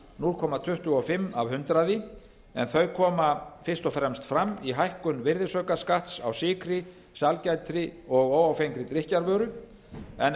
núll komma tuttugu og fimm prósent en þau koma fyrst og fremst fram í hækkun virðisaukaskatts á sykri sælgæti og óáfengri drykkjarvöru en